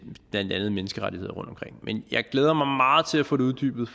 blandt andet menneskerettigheder rundtomkring men jeg glæder mig meget til at få det uddybet